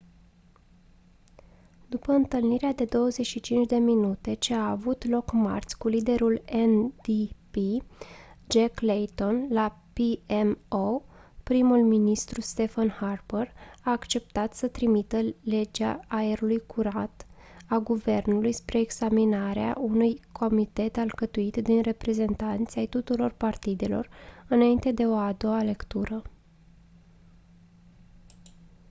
după întâlnirea de 25 minute ce a avut loc marți cu liderul ndp jack layton la pmo primul ministru stephen harper a acceptat să trimită legea aerului curat a guvernului spre examinare unui comitet alcătuit din reprezentanți ai tuturor partidelor înainte de o a doua lectură